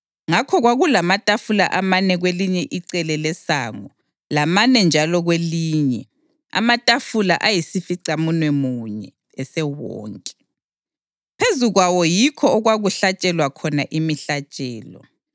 Ngakho kwakulamatafula amane kwelinye icele lesango lamane njalo kwelinye, amatafula ayisificamunwemunye esewonke, phezu kwawo yikho okwakuhlatshelwa khona imihlatshelo.